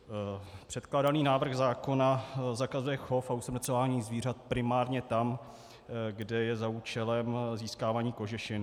Předkládaný návrh zákona zakazuje chov a usmrcování zvířat primárně tam, kde je za účelem získávání kožešin.